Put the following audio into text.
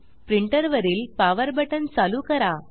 printer वरील power power button चालू करा